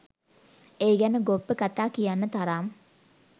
ඒ ගැන ගොබ්බ කතා කියන්න තරම්